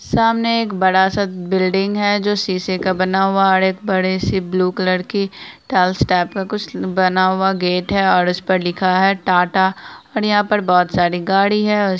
सामने एक बड़ा सा बिल्डिंग है जो शीशे का बना हुआ हैऔर एक बड़ी सी ब्लू कलर की टाइल्स टाइप का कुछ बना हुआ गेट है और उस पर लिखा है टाटा और यहाँ पर बहुत सारी गाड़ी है उस--